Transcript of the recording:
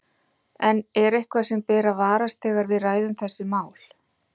En er eitthvað sem ber að varast þegar við ræðum þessi mál?